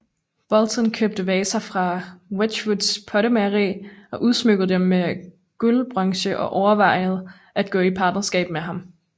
Boulton købte vaser fra Wedgwoods pottemageri og udsmykkede dem med guldbronze og overvejede at gå i partnerskab med ham